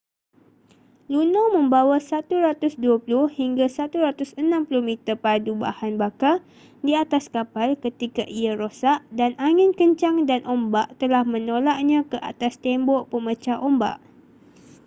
luno membawa 120-160 meter padu bahan bakar di atas kapal ketika ia rosak dan angin kencang dan ombak telah menolaknya ke atas tembok pemecah ombak